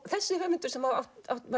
þessi höfundur sem var